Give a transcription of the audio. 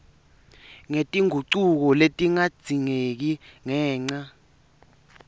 ngetingucuko letingadzingeka ngenca